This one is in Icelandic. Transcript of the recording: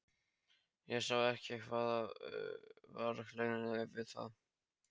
Ég sá ekki hvað var hlægilegt við það.